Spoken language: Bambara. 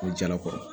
Ko jalakɔrɔ